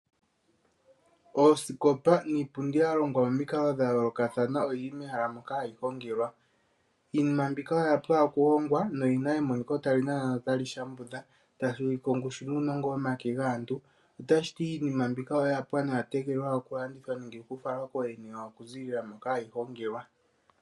Oosikopa niipundi ya longwa momikalo dha yoolokathana oyi li mehala moka hayi hongelwa. Iinima mbika oya pwa okuhongwa noyi na emoniko tali nana notali shambudha tashi ulike ongushu nuunongo womake gaaantu. Otashi ti iinima mbika oya pwa noya tegelelwa okulandithwa nokufalwa kooyene yawo okuziilila moka hayi hongelwa.